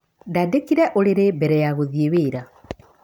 Ndandĩkire ũrĩrĩ mbere ya gũthiĩ wĩra.